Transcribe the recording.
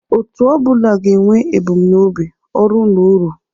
Otu ọ bụla ga-enwe ebumnobi, ọrụ na uru